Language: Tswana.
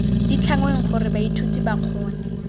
ditlhangweng gore baithuti ba kgone